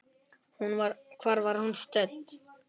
Hvar var hún stödd?